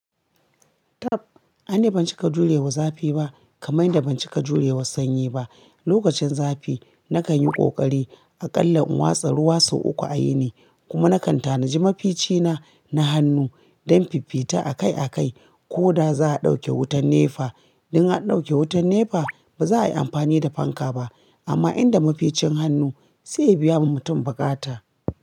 Taf, ani ban cika jurewa zafi ba kamar yadda ban cika jurewa sanyi ba. Lokacin zafi nakan yi kokari a kalla in wasa ruwa sau uku a yini, kuma nakan tanaji mafici na, na hannu don fifita akai akai koda za'a ɗauke wutar nefa. In har ɗauke wutar nefa ba za'a yi amfani da fanka ba amma inda maficin hannu sai ya biya ma mutum bukata.